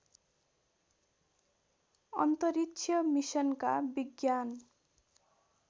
अन्तरिक्ष मिसनका विज्ञान